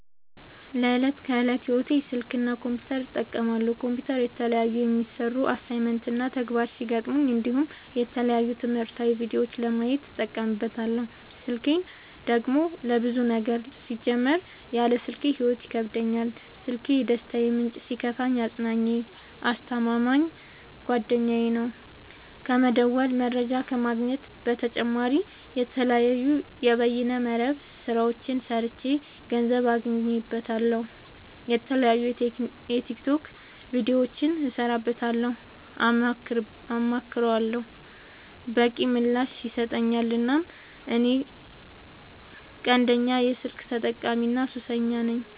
ለዕት ከዕለት ህይወቴ ስልክ እና ኮምፒውተር እጠቀማለሁ። ኮምፒውተር የተለያዩ የሚሰሩ አሳይመንት እና ተግባራት ሲገጥሙኝ እንዲሁም የተለያዩ ትምህርታዊ ቪዲዮዎችን ለማየት እጠቀምበታለው። ስልኬን ደግሞ ለብዙ ነገር ሲጀመር ያለ ስልኬ ህይወት ይከብደኛል። ስልኪ የደስታዬ ምንጭ ሲከፋኝ አፅናኜ አስተማማኝ ጓደኛዬ ነው። ከመደወል መረጃ ከመግኘት በተጨማሪ የተለያዩ የበይነ መረብ ስራዎችን ሰርቼ ገንዘብ አገኝበታለሁ። የተለያዩ የቲክቶክ ቪዲዮዎችን እሰራበታለሁ አማክረዋለሁ። በቂ ምላሽ ይሰጠኛል እናም እኔ ቀንደኛ የስልክ ተጠቀሚና ሱሰኛም ነኝ።